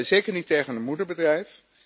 zeker niet tegen een moederbedrijf.